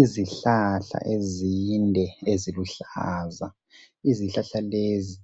Izihlahla ezinde eziluhlaza. Izihlahla lezi